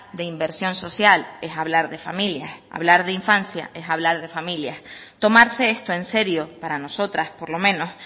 de inversión social es hablar de familias hablar de infancia es hablar de familias tomarse esto en serio para nosotras por lo menos